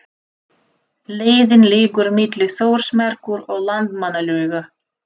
Leiðin liggur milli Þórsmerkur og Landmannalauga.